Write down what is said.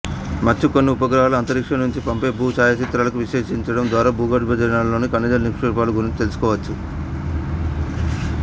మచ్చుకు కొన్ని ఉపగ్రహాలు అంతరిక్షం నుంచి పంపే భూ ఛాయాచిత్రాలను విశ్లేషించడం ద్వారా భూగర్భంలోని ఖనిజ నిక్షేపాల గురించి తెలుసుకోవచ్చు